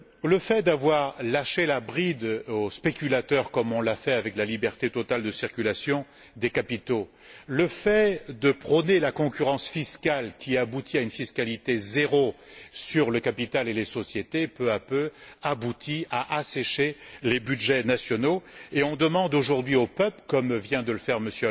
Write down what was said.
Le fait d'avoir lâché la bride aux spéculateurs comme on l'a fait avec la liberté totale de circulation des capitaux, le fait de prôner la concurrence fiscale qui aboutit à une fiscalité zéro sur le capital et les sociétés aboutit peu à peu à assécher les budgets nationaux, et on demande aujourd'hui aux peuples, comme vient de le faire M.